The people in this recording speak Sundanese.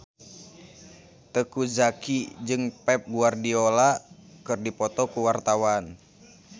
Teuku Zacky jeung Pep Guardiola keur dipoto ku wartawan